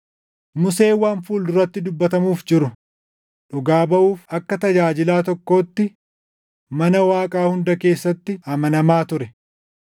Museen waan fuul duratti dubbatamuuf jiru dhugaa baʼuuf akka tajaajilaa tokkootti mana Waaqaa hunda keessatti amanamaa ture. + 3:5 \+xt Lak 12:7\+xt*